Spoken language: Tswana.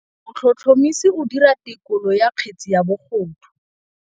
Motlhotlhomisi o dira têkolô ya kgetse ya bogodu.